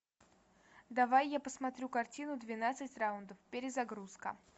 давай я посмотрю картину двенадцать раундов перезагрузка